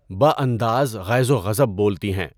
بہ انداز غیظ و غضب بولتی ہیں۔